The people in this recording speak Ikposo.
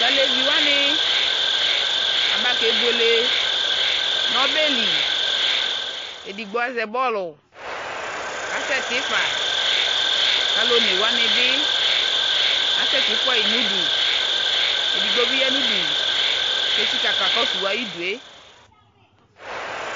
Taleviwani abakebuele nɔbɛli edigboaƶɛ bɔluu kasɛɛ tifaa kaluɔnewani bi asɛtifuayɛ nudu Edigbo biya nudu ketsika kakɔsu ayidue